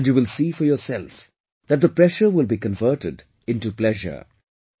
And you will see for yourself, that the pressure will be converted into pleasure